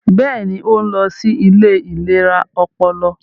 Bẹẹni, o nlọ sí ilé ìlera ọpọlọ